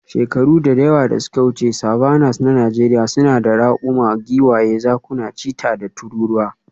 Shekaru da yawa da suka wuce, savannas na Najeriya suna da raƙuma, giwaye, zakuna, cheetah, da tururuwa.